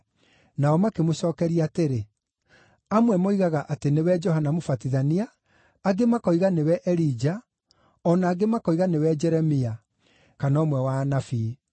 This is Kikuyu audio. Nao makĩmũcookeria atĩrĩ, “Amwe moigaga atĩ nĩwe Johana Mũbatithania; angĩ makoiga nĩwe Elija, o na angĩ makoiga nĩwe Jeremia, kana ũmwe wa anabii.”